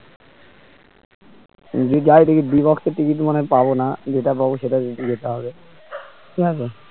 যদি যাই দেখবি বিভোক্স ticket মানে পাবো না যেটা পাবো সেটাতেই যেতে হবে ঠিক আছে